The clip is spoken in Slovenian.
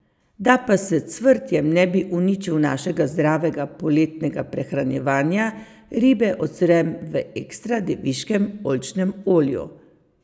Da pa s cvrtjem ne bi uničil našega zdravega poletnega prehranjevanja, ribe ocvrem v ekstra deviškem oljčnem olju.